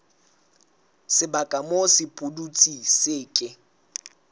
sebaka moo sepudutsi se ke